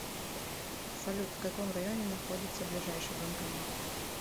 салют в каком районе находится ближайший банкомат